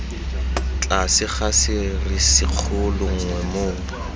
tlase ga serisikgolo nngwe moo